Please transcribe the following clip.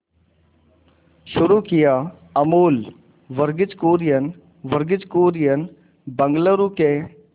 शुरू किया अमूल वर्गीज कुरियन वर्गीज कुरियन बंगलूरू के